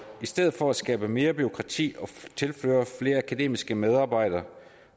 i stedet for at skabe mere bureaukrati og tilføre flere akademiske medarbejdere